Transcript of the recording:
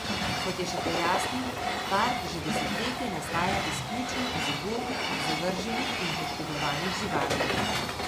Kot je še pojasnil, park že desetletje nastaja izključno iz ubogih, zavrženih in poškodovanih živali.